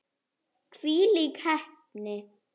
Hvílík heppni!